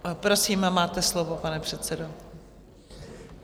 Prosím, máte slovo, pane předsedo.